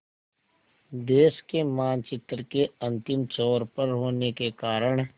देश के मानचित्र के अंतिम छोर पर होने के कारण